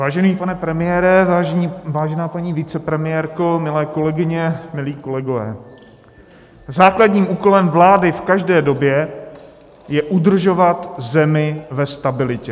Vážený pane premiére, vážená paní vicepremiérko, milé kolegyně, milí kolegové, základním úkolem vlády v každé době je udržovat zemi ve stabilitě.